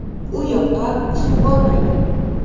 U yoqqa suv bormaydi.